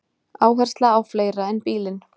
Áhersla á fleira en bílinn